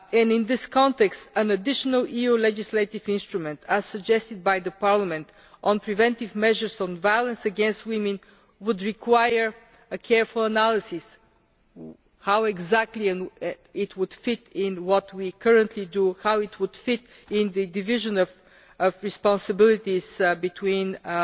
In this context, an additional EU legislative instrument, as suggested by Parliament, on preventive measures on violence against women, would require a careful analysis of how exactly it would fit into what we currently do in terms of the division of responsibilities between the